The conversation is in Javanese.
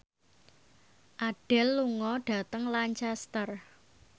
Adele lunga dhateng Lancaster